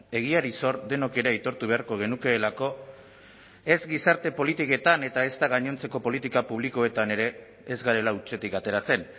egiari zor denok ere aitortu beharko genukeelako ez gizarte politiketan eta ezta gainontzeko politika publikoetan ere ez garela hutsetik ateratzen